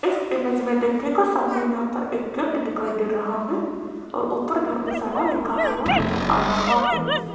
इस इमेज में देखें को सामने यहां पर एक गिफ्ट दिखाई दे रहा है और ऊपर धर्मशाला लिखा हुआ नजर आ रहा है।